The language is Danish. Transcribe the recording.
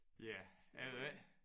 Ja jeg ved ikke